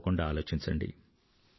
తప్పకుండా ఆలోచించండి